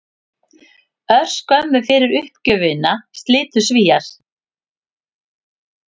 Örskömmu fyrir uppgjöfina slitu Svíar